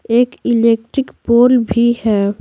एक electric pole भी है।